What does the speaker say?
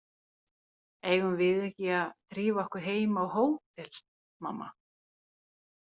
Eigum við ekki að drífa okkur heim á hótel, mamma?